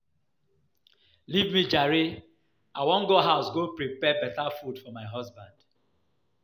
Leave me jare, I wan go house go prepare beta food for my husband.